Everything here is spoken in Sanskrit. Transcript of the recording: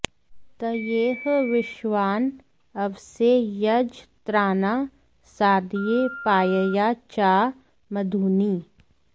तये॒ह विश्वा॒ँ अव॑से॒ यज॑त्रा॒ना सा॑दय पा॒यया॑ चा॒ मधू॑नि